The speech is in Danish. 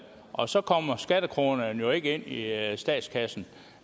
og så kommer skattekronerne jo ikke ind i statskassen